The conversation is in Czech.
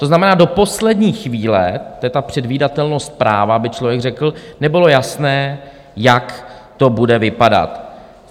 To znamená, do poslední chvíle - to je ta předvídatelnost práva, by člověk řekl - nebylo jasné, jak to bude vypadat.